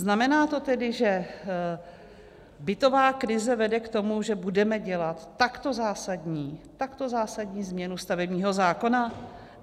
Znamená to tedy, že bytová krize vede k tomu, že budeme dělat takto zásadní změnu stavebního zákona?